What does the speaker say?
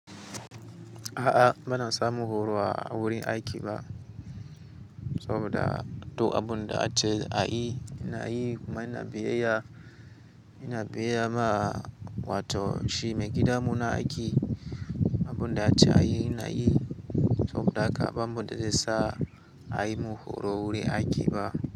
A'a ba na samun horo a wurin aiki ba, saboda to abun da ace a yi ina yi kuma ina biyayya, ina biyayya ma wato shi maigida mu na aiki. Abun da ace a yi ina yi saboda haka ban bude sa a yi mu horo wurin aiki ba.